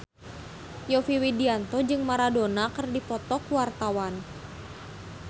Yovie Widianto jeung Maradona keur dipoto ku wartawan